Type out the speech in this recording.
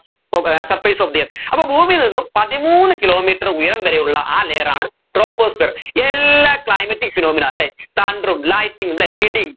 പൊ ഏർ surface of the earth അപ്പോ ഭൂമിയിൽ നിന്നും പതിമൂന്നു kilometre ഉയരം വരെയുള്ള ആ layer ആണ് troposphere എല്ലാ climatic phenomena അല്ലെ thunder ഉം lightning ഉം അല്ലെ ഇടീം